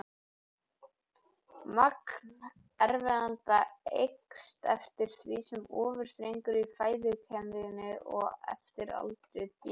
Magn efnanna eykst eftir því sem ofar dregur í fæðukeðjunni og eftir aldri dýranna.